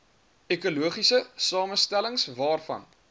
ekologiese samestellings waarvan